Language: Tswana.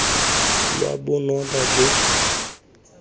lwa bonota jo bogolo great